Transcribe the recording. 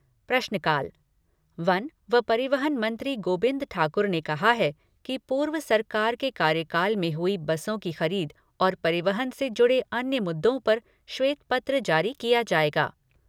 प्रश्नकाल वन व परिवहन मंत्री गोबिंद ठाकुर ने कहा है कि पूर्व सरकार के कार्यकाल में हुई बसों की खरीद और परिवहन से जुड़े अन्य मुद्दों पर श्वेत पत्र जारी किया जाएगा।